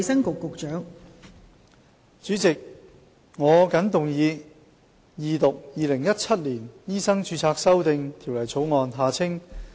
代理主席，我謹動議二讀《2017年醫生註冊條例草案》。